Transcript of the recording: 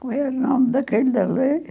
Qual é o nome daquele ali?